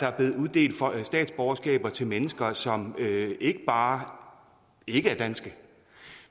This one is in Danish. er blevet uddelt statsborgerskaber til mennesker som ikke bare ikke er danske